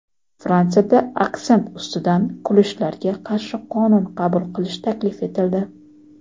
Fransiyada aksent ustidan kulishlarga qarshi qonun qabul qilish taklif etildi.